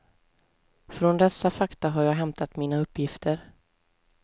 Från dessa fakta har jag hämtat mina uppgifter.